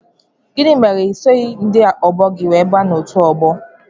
Kedụ ihe mere na isoghi ndị ọgbọ gị wee baa n' ọtu ọgbọ?